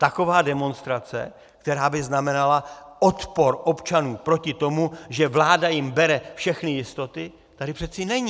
Taková demonstrace, která by znamenala odpor občanů proti tomu, že vláda jim bere všechny jistoty, tady přeci není.